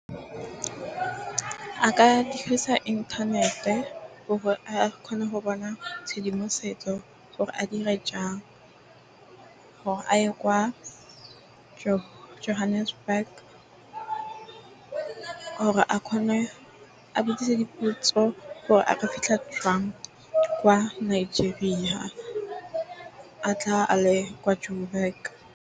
A ka dirisa inthanete gore a kgone go bona tshedimosetso gore a dire jang, gore a ye kwa Johannesburg gore a kgone a botsisa dipotso, gore a ka fitlha jang kwa Nigeria ha a tla a le kwa Joburg.